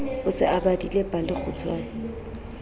o se o badile palekgutshwe